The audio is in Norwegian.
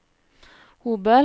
Hobøl